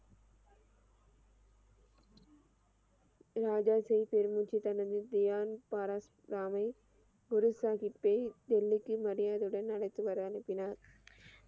ராஜா சிங் பெருமூச்சு தனது திவான் பீரோஸ் ராமை குருசாகித்தை டெல்லிக்கு மரியாதையுடன் அழைத்து வர அனுப்பினார்